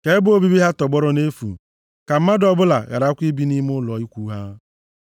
Ka ebe obibi ha tọgbọrọ nʼefu, ka mmadụ ọbụla gharakwa ibi nʼime ụlọ ikwu ha.